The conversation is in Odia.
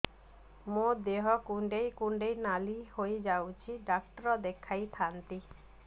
ମୋର ଦେହ କୁଣ୍ଡେଇ କୁଣ୍ଡେଇ ନାଲି ହୋଇଯାଉଛି ଡକ୍ଟର ଦେଖାଇ ଥାଆନ୍ତି